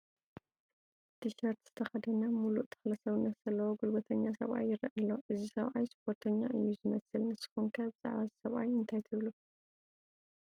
ቲሸርት ዝተኸደነ ሙሉእ ተኽለ ሰውነት ዘለዎ ጉልበተኛ ሰብኣይ ይርአ ኣሎ፡፡ እዚ ሰብኣይ ስፖርተኛ እዩ ዝመስል፡፡ ንስኹም ከ ብዛዕባ እዚ ሰብኣይ እንታይ ትብሉ?